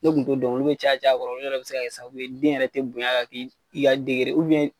Ne kun t'o dɔn olu be caya caya yɔrɔ a kɔrɔ o yɛrɛ be se ka kɛ sababu ye den yɛrɛ te bonya ka k'i i ka degere ye ubiyɛn